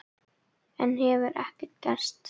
Enn hefur ekkert gerst.